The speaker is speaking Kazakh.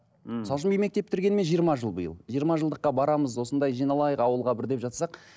мхм мысалы үшін мен мектеп бітіргеніме жиырма жыл биыл жиырма жылдыққа барамыз осындай жиналайық ауылға бір деп жатсақ